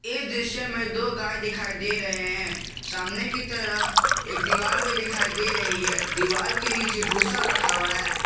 इस दृश्य में दो गाय दिखाई दे रहे हैं सामने की तरफ एक दीवार भी दिखाई दे रही है दीवाल के नीचे भूसा रखा हुआ है।